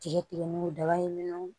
Tigɛ tigɛ mugudaba in minɛw